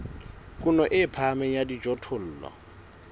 kuno e phahameng ya dijothollo